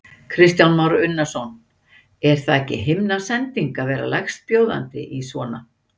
Kristján Már Unnarsson: Er þetta ekki himnasending að verða lægstbjóðandi í svona?